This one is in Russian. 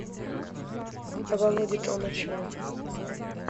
володи толмачева